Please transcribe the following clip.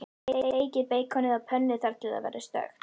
Steikið beikonið á pönnu þar til það verður stökkt.